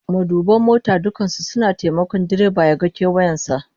Maduban mota dukkan su suna taimakon direba ya ga kewayen sa